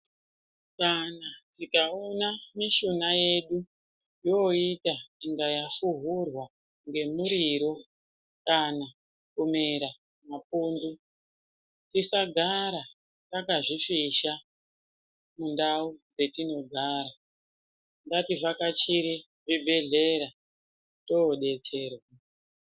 Kana tikaona mishuna yedu yoita unga yafuhurwa ngemuriro, kana kumera mapundu ,tisagara takazvifisha mundau dzetinogara. Ngativhakachire zvibhedhlera toodetserwa.